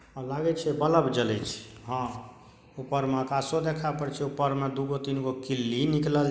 लागे छै बलब जलय छै अ ऊपर मे आकाशो देखाय परय छै ऊपर मे दु गो तीन गो किल्ली निकलल--